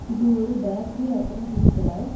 இது ஒரு பேக்கரி அப்ரோ டீ கட.